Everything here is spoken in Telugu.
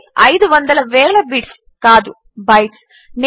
అంటే అయిదు వందల వేల బిట్స్ కాదు బైట్స్